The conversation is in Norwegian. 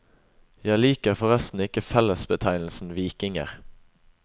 Jeg liker forresten ikke fellebetegnelsen vikinger.